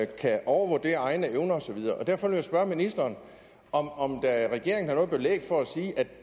kan overvurdere egne evner og så videre derfor vil jeg spørge ministeren om om regeringen har noget belæg for at sige at